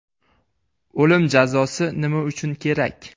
O‘lim jazosi nima uchun kerak?